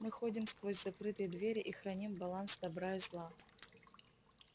мы ходим сквозь закрытые двери и храним баланс добра и зла